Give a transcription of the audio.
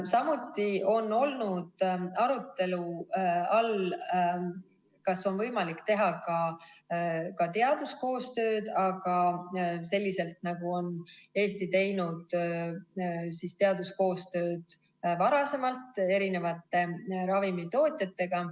Samuti on olnud arutelu all, kas on võimalik teha ka teaduskoostööd, aga selliselt, nagu on Eesti teinud teaduskoostööd varem eri ravimitootjatega.